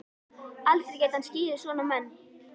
Aldrei gæti hann skilið svona menn.